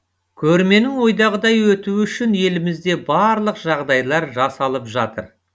көрменің ойдағыдай өтуі үшін елімізде барлық жағдайлар жасалып жатыр